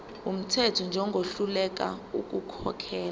wumthetho njengohluleka ukukhokhela